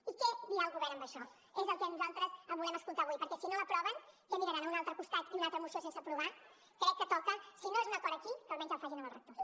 i què dirà el govern en això és el que nosaltres volem escoltar avui perquè si no l’aproven què miraran a un altre costat i una altra moció sense aprovar crec que toca si no és un acord aquí que almenys el facin amb els rectors